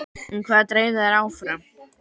En hvað dreif þær áfram?